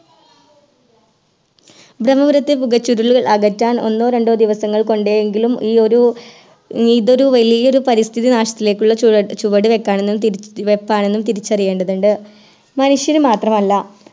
ബ്രമ്മപുരത്തെ പുകച്ചുരുളുകൾ അകറ്റാൻ ഒന്നോ രണ്ടോ ദിവസങ്ങൾ കൊണ്ടേ എങ്കിലും ഈയൊരു ഇതൊരു വലിയൊരു പരിസ്ഥിതി നാശത്തിലേക്കുള്ള ചുവടു ചുവടുവെക്കാണെന്നും തിരി വെപ്പാണെന്നും തിരിച്ചറിയേണ്ടതുണ്ട് മനുഷ്യന് മാത്രമല്ല